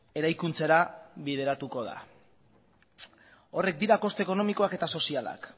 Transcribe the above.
eraikuntzara bideratuko da horiek dira koste ekonomikoak eta sozialak